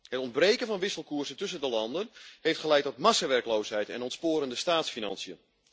Het ontbreken van wisselkoersen tussen de landen heeft geleid tot massawerkloosheid en ontsporende staatsfinanciën.